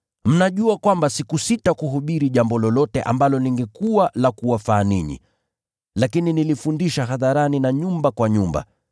Mnajua kwamba sikusita kuhubiri jambo lolote ambalo lingekuwa la kuwafaa ninyi, lakini nilifundisha hadharani na nyumba kwa nyumba.